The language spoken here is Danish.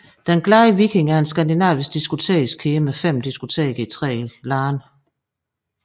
Den Glade Viking er en skandinavisk diskotekskæde med fem diskoteker i tre lande